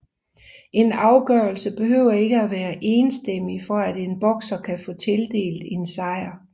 En afgørelse behøver ikke at være enstemmig for at en bokser kan få tildelt en sejr